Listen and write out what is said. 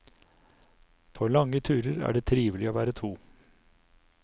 På lange turer er det trivelig å være to.